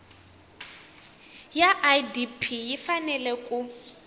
ya idp yi fanele ku